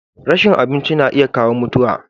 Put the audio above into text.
rashin abinci na iya kawo mutuwa